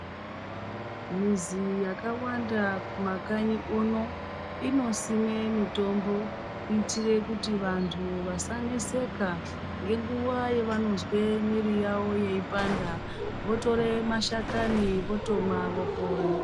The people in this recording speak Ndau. Muzi yakawanda kumakanyi kuno inosimwe mitombo kuitire kuti vantu vasaneseka ngenguwa yavanozwa mwiri yawo yeipanda votore mashakani votomwa vopora.